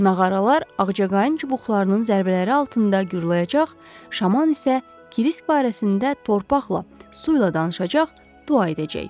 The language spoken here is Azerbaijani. Nağaralar ağcaqayın çubuqlarının zərbələri altında gurulacaq, şaman isə Kirisk barəsində torpaqla, su ilə danışacaq, dua edəcək.